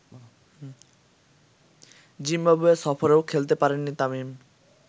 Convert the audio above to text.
Zimbabwe সফরেও খেলতে পারেননি তামিম